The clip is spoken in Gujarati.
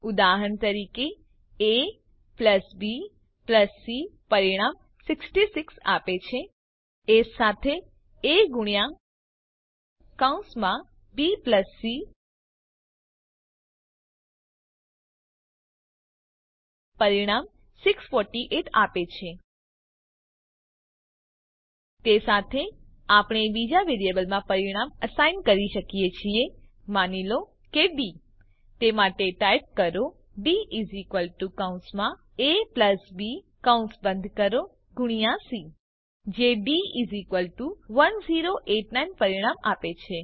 ઉદાહરણ તરીકે abc પરિણામ 66 આપે છે એ સાથે જ એ ગુણ્યા કૌંસમાં bસી પરિણામ 648 આપે છે તે સાથે આપણે બીજા વેરીએબલમાં પરિણામ અસાઈન કરી શકીએ છીએ માની લો કે ડી તે માટે ટાઇપ કરોd કૌસમાં aબી કૌંસ બંધ કરો ગુણ્યા સી જે ડી 1089 પરિણામ આપે છે